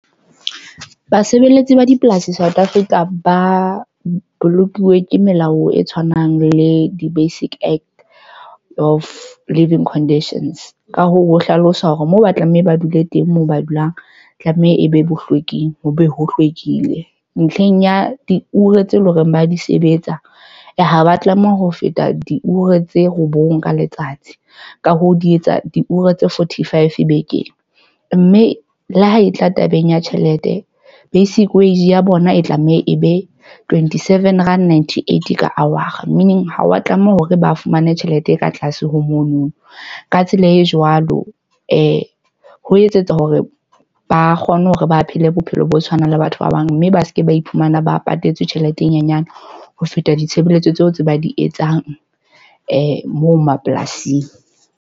Basebeletsi ba dipolasi South Africa ba bolokilwe ke melao e tshwanang le di-Basic Act of Living Conditions. Ka hoo, ho hlalosa hore moo ba tlameha ba dule teng moo ba dulang, tlameha e be bohlweking. Ho be ho hlwekile. Ntlheng ya diure tse leng hore ba di sebetsa, ha ba tlameha ho feta diure tse robong ka letsatsi. Ka hoo, di etsa diure tse forty-five bekeng. Mme le ha e tla tabeng ya tjhelete, basic wage ya bona e tlameha e be twenty-seven Rand Ninety-eighty ka hour. Meaning ha wa tlameha hore ba fumane tjhelete e ka tlase ho mono. Ka tsela e jwalo, ho etsetsa hore ba kgone hore ba phele bophelo bo tshwanang le batho ba bang. Mme ba seke ba iphumana ba patetse tjhelete e nyenyane ho feta ditshebeletso tseo tse ba di etsang moo mapolasing.